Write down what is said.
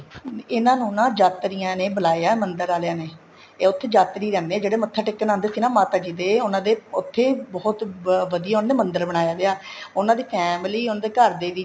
ਇਹਨਾ ਨੂੰ ਜਾਤਰੀਆਂ ਨੇ ਬੁਲਾਇਆ ਏ ਮੰਦਰ ਆਲੀਆਂ ਨੇ ਇਹ ਉੱਥੇ ਜਾਤਰੀ ਰਹਿੰਦੇ ਹੈ ਜਿਹੜੇ ਮੱਥਾ ਟੇਕਣ ਆਦੇ ਸੀ ਨਾ ਮਾਤਾ ਜੀ ਦੇ ਉਹਨਾ ਦੇ ਉੱਥੇ ਬਹੁਤ ਵਧੀਆ ਉਹਨਾ ਨੇ ਮੰਦਰ ਬਣਾਇਆ ਵੀ ਆ ਉਹਨਾ ਦੀ family ਉਹਨਾ ਦੇ ਘਰ ਦੇ ਵਿੱਚ